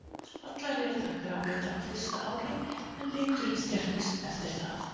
Allar eru þær gráleitar á fyrsta ári en liturinn skerpist eftir það.